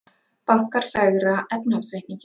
Bankar fegra efnahagsreikninginn